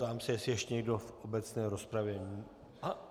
Ptám se, jestli ještě někdo v obecné rozpravě.